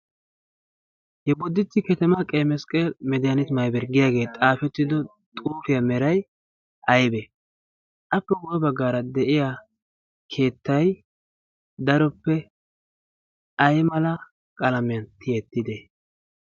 yeboditti ketemaa qeymesqqeel mediyaaniti maybar giyaagee xaafettido xuufiyaa meray aybee appe woe baggaara de'iya keettay daroppe ay mala qalamiyan tiyettide